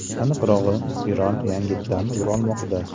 Aniqrog‘i, spiral yangitdan buralmoqda.